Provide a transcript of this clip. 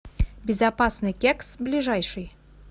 безопасный кекс ближайший